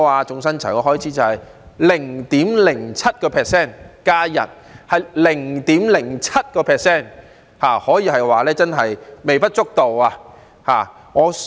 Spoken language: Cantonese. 總薪酬開支是 0.07%， 增加1天是 0.07%， 可以說是微不足道。